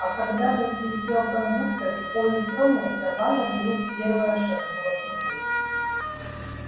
а когда засвистел кондуктор и поезд тронулся валя вдруг первая шагнула к нему